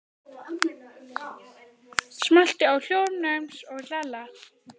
Það hafði komið honum á óvart.